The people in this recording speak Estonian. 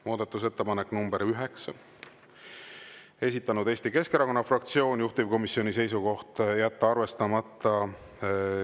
Muudatusettepanek nr 9, esitanud Eesti Keskerakonna fraktsioon, juhtivkomisjoni seisukoht on jätta arvestamata.